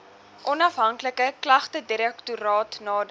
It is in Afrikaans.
onafhanklike klagtedirektoraat nader